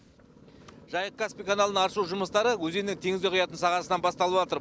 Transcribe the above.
жайық каспий каналын аршу жұмыстары өзеннің теңізге құятын сағасынан басталватыр